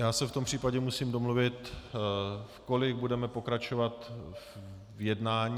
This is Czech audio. Já se v tom případě musím domluvit, v kolik budeme pokračovat v jednání.